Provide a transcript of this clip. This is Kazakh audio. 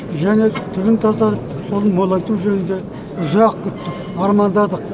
және түбін тазартып соны молайту жөнінде ұзақ күттік армандадық